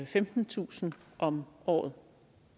femtentusind om året